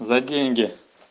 за деньги